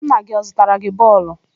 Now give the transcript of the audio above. Nna gị ọ zụtara gị bọọlụ?